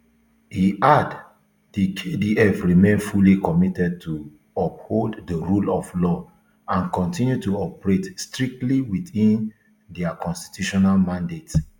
e add di kdf remain fully committed to uphold di rule of law and kontinu to operate strictly within dia constitutional mandate